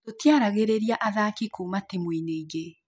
Tũtiaragĩrĩria athaki kuuma timũ inĩ ĩngĩ